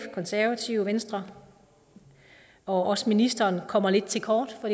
konservative og venstre og også ministeren kommer lidt til kort for